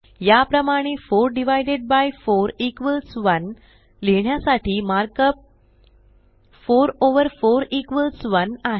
या प्रमाणे 4 divided by 4 equals 1 लिहिण्यासाठी मार्क अप 4 ओव्हर 4 इक्वॉल्स 1 आहे